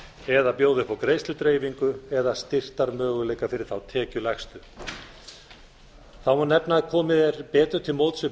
eða bjóða upp á greiðsludreifingu eða styrktarmöguleika fyrir þá tekjulægstu þá má nefna að komið er betur til móts við